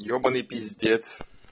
ебаный пиздец